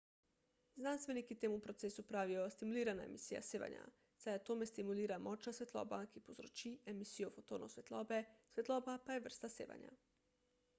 znanstveniki temu procesu pravijo stimulirana emisija sevanja saj atome stimulira močna svetloba ki povzroči emisijo fotonov svetlobe svetloba pa je vrsta sevanja